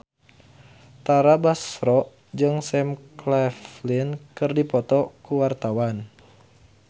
Tara Basro jeung Sam Claflin keur dipoto ku wartawan